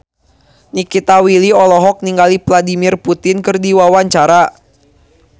Nikita Willy olohok ningali Vladimir Putin keur diwawancara